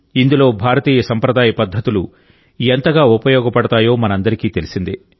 ఇందులో భారతీయ సంప్రదాయ పద్ధతులు ఎంతగా ఉపయోగపడతాయో మనందరికీ తెలిసిందే